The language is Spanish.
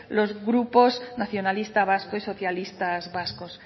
los grupos nacionalistas vascos y socialistas vascos